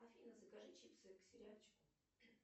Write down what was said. афина закажи чипсы к сериальчику